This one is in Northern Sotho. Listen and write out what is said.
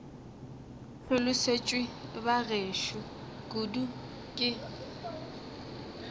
hlolosetšwe ba gešo kudu ke